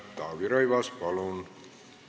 Taavi Rõivas, palun!